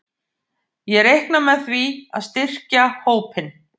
Ég reikna með því að styrkja hópinn.